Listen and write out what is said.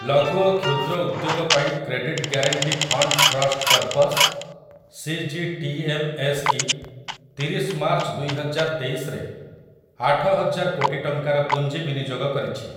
ଲଘୁ ଓ କ୍ଷୁଦ୍ର ଉଦ୍ୟୋଗ ପାଇଁ credit guarantee fund trust corpus, CGTMSE, ତିରିଶ ମାର୍ଚ୍ଚ ଦୁଇହଜାରତେଇଶରେ ଆଠହଜାର କୋଟି ଟଙ୍କାର ପୁଞ୍ଜି ବିନିଯୋଗ କରିଛି ।